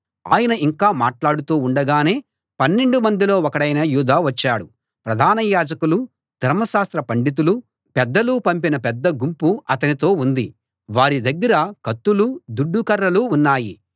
ఆయన ఇంకా మాట్లాడుతూ ఉండగానే పన్నెండు మందిలో ఒకడైన యూదా వచ్చాడు ప్రధాన యాజకులూ ధర్మశాస్త్ర పండితులూ పెద్దలూ పంపిన పెద్ద గుంపు అతనితో ఉంది వారి దగ్గర కత్తులూ దుడ్డు కర్రలూ ఉన్నాయి